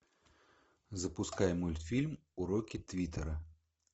запускай мультфильм уроки твиттера